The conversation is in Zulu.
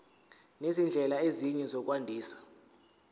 nezindlela ezinye zokwandisa